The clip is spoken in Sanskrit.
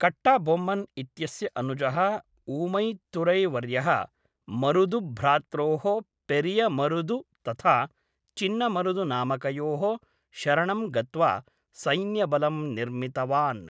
कट्टबोम्मन् इत्यस्य अनुजः ऊमैत्तुरै वर्यः मरुदुभ्रात्रोः पेरियमरुदु तथा चिन्नमरुदु नामकयोः शरणं गत्वा सैन्यबलं निर्मितवान्।